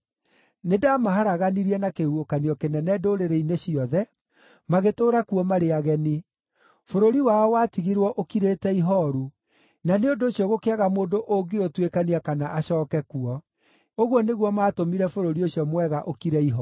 Nĩndamaharaganirie na kĩhuhũkanio kĩnene ndũrĩrĩ-inĩ ciothe, magĩtũũra kuo marĩ ageni. Bũrũri wao watigirwo ũkirĩte ihooru, na nĩ ũndũ ũcio gũkĩaga mũndũ ũngĩũtuĩkania kana acooke kuo. Ũguo nĩguo maatũmire bũrũri ũcio mwega ũkire ihooru.’ ”